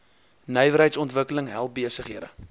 nywerheidsontwikkeling help besighede